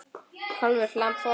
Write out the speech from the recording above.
Kálfur, lamb, folald.